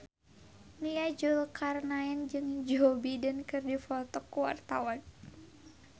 Nia Zulkarnaen jeung Joe Biden keur dipoto ku wartawan